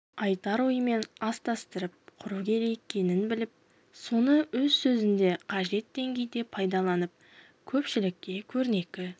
айтар ойымен астастырып құру керек екенін біліп соны өз сөзінде қажет деңгейде пайдаланып көпшілікке көрнекі